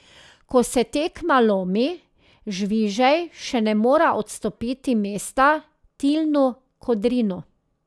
Ko se tekma lomi, Žvižej še ne more odstopiti mesta Tilnu Kodrinu.